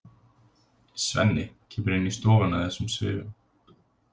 Svenni kemur inn í stofuna í þessum svifum.